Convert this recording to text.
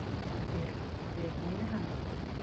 сбер летняя веранда